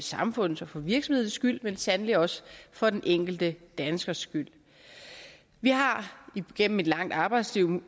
samfundets og for virksomhedernes skyld men sandelig også for den enkelte danskers skyld vi har igennem et langt arbejdsliv